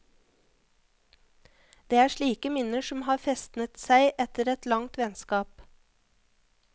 Det er slike minner som har festnet seg etter at langt vennskap.